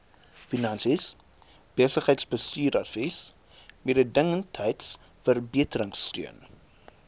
finansies besigheidsbestuursadvies mededingendheidsverbeteringsteun